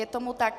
Je tomu tak.